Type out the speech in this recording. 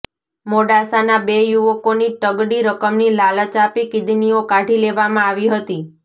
મોડાસાના બે યુવકોની તગડી રકમની લાલચ આપી કિડનીઓ કાઢી લેવામાં આવી હતી